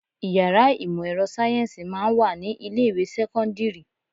Ìyàrá ìmò ẹ̀rọ sáyẹ́ǹsì máa ń wà ní ilé ìwé sẹ́kọ́ńdírì.